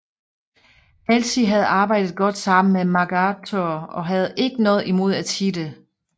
Halsey havde arbejdet godt sammen med MacArthur og havde ikke noget imod at sige det